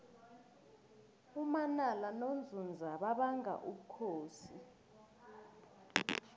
umanala nonzunza babanga ubukhosi